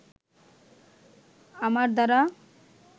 আমার দ্বারা